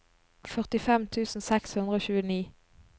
førtifem tusen seks hundre og tjueni